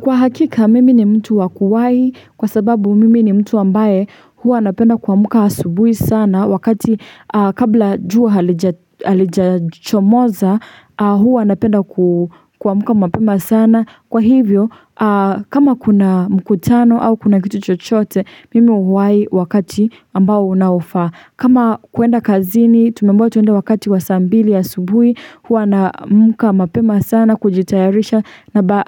Kwa hakika mimi ni mtu wa kuwai kwa sababu mimi ni mtu ambaye huwa napenda kuamka asubuhi sana wakati kabla jua halijachomoza huwa napenda kuamka mapema sana kwa hivyo kama kuna mkutano au kuna kitu chochote mimi huwai wakati ambao unaofaa. Kama kuenda kazini tumeambiwa tuende wakati wa saa mbili asubuhi huwa naamka mapema sana kujitayarisha na